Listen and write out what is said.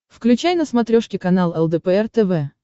включай на смотрешке канал лдпр тв